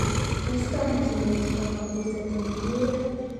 Tos toreti nee chebo kabuset eng tungwek.